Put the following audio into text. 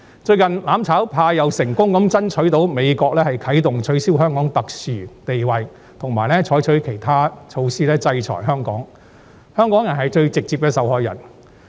最近，"攬炒派"又成功爭取到美國啟動取消給予香港特殊待遇，以及採取其他措施制裁香港，最直接的受害者將會是香港人。